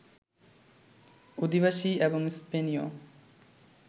অধিবাসী, এবং স্পেনীয়